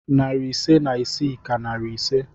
Narị ise na isii ka narị ise.